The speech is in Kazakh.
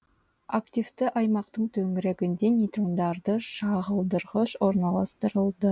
активті аймақтың төңрегінде нейтрондарды шағылдырғыш орналастырады